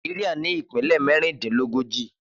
Naijiria ni ipinlẹ mẹrindinlógóji